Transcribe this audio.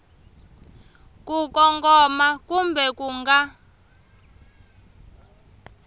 ku kongoma kumbe ku nga